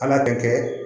Ala bɛ kɛ